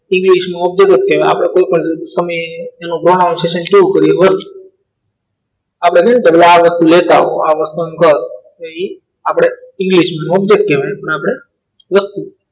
ઈંગ્લીશમાં object કહેવાય આપણે કોઈપણ તમે એનો પ્રોગ્રામ છે પૂરું કરીએ તો આપણે નિકેટર ના લેતા લેતા આ વસ્તુનું દળ અહીં આપણે ઇંગ્લિશમાં object કહેવાય પણ આપણે વસ્તુ